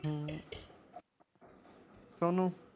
ਹਮ ਤੁਹਾਨੂੰ?